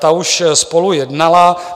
Ta už spolu jednala.